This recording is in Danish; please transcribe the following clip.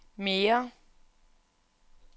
mere